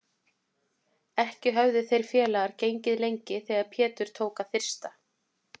Ekki höfðu þeir félagar gengið lengi þegar Pétur tók að þyrsta.